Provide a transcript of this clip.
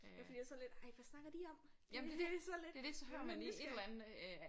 Fordi jeg er sådan lidt ej hvad snakker de om sådan lidt nysgerrig